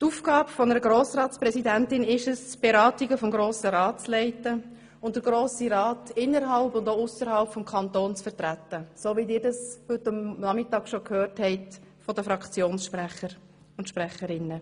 Die Aufgabe einer Grossratspräsidentin ist es, die Beratungen des Grossen Rats zu leiten und den Grossen Rat innerhalb und auch ausserhalb des Kantons zu vertreten, wie Sie dies heute Nachmittag bereits von den Fraktionssprecherinnen und -sprechern gehört haben.